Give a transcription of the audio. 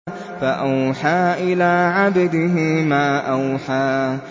فَأَوْحَىٰ إِلَىٰ عَبْدِهِ مَا أَوْحَىٰ